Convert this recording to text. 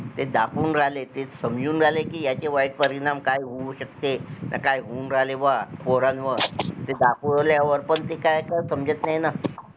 ते दाखवून राहिले, ते समजून राहिले कि याचे वाईट परिणाम काय होऊ शकते न काय होऊन राहिले बा पोरांवर ते दाखवल्यावर पण ते काय काय समजत नाही ना